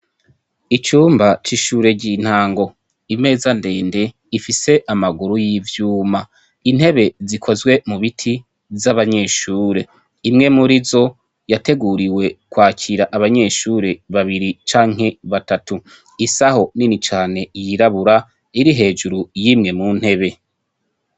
Icumba c'ishure ry'intango, imeza ndende ifise amaguru y'ivyuma, intebe zikozwe mu biti z'abanyeshure. Imwe muri zo yateguriwe kwakira abanyeshure babiri canke batatu. Isaho nini cane y'irabura iri hejuru y'imwe mu ntebe.